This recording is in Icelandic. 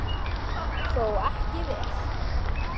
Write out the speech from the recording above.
Það tókst þó ekki vel.